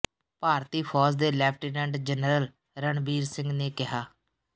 ਭਾਰਤੀ ਫੌਜ ਦੇ lieutenant general Ranbir Singh ਨੇ ਕਿਹਾ